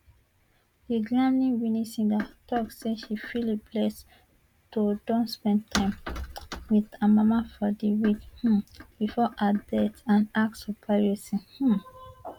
di grammywinning singer tok say she feel blessed to don spend time wit her mama for di week um bifor her death and ask for privacy um